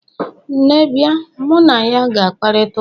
nne bia, mu na ya ga-akparita ụka?